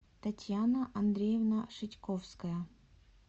татьяна андреевна шитьковская